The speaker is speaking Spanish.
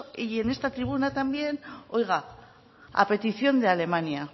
y en esta tribuna también oiga a petición de alemania